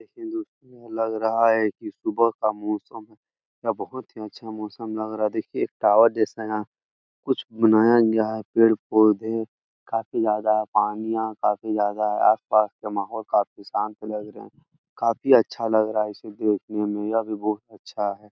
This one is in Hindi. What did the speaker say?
देखने में लग रहा है की सुबह का मौसम है । यह बहुत ही अच्छा मौसम लग रहा है । दखिए एक टॉवर जैसा यहाँ कुछ बनाया गया है । पेड़- पौधे काफी ज्यादा है पानिया काफी ज्यादा आसपास का माहौल काफी शांत लग रहा है । काफी अच्छा लग रहा है ये सब देखने में । यह भी बहुत अच्छा है ।